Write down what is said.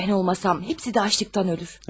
Mən olmasam, hapsi də aclıqdan ölür.